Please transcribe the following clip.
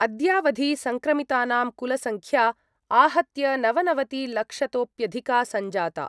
अद्यावधि सङ्क्रमितानां कुलसंख्या आहत्य नवनवतिलक्षतोप्यधिका सञ्जाता।